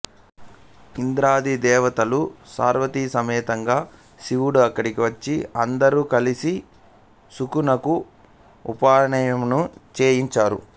ఇంద్రాది దేవతలు పార్వతి సమేతంగా శివుడు అక్కడికి వచ్చి అందరూ కలిసి శుకునకు ఉపనయనము చేయించారు